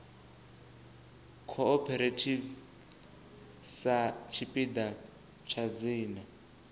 cooperative sa tshipiḓa tsha dzina